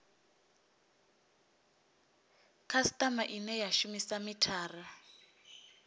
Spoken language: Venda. khasitama ine ya shumisa mithara